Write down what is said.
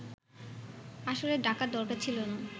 আসলে ডাকার দরকার ছিল না